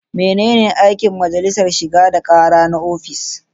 Menene aikin majalisar shigar da kara na ofis?